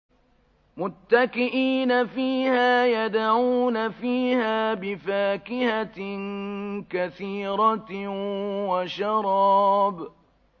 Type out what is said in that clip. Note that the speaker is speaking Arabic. مُتَّكِئِينَ فِيهَا يَدْعُونَ فِيهَا بِفَاكِهَةٍ كَثِيرَةٍ وَشَرَابٍ